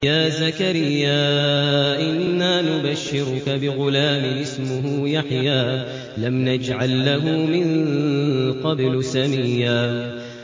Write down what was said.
يَا زَكَرِيَّا إِنَّا نُبَشِّرُكَ بِغُلَامٍ اسْمُهُ يَحْيَىٰ لَمْ نَجْعَل لَّهُ مِن قَبْلُ سَمِيًّا